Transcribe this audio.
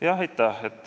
Aitäh!